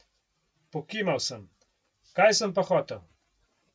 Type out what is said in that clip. Pokimal sem, kaj sem pa hotel.